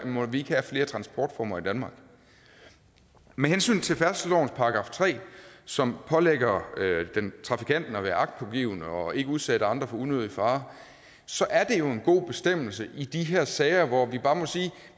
må vi ikke have flere transportformer i danmark med hensyn til færdselslovens § tre som pålægger trafikanten at være agtpågivende og ikke udsætte andre for unødig fare så er det jo en god bestemmelse i de her sager hvor vi bare må sige at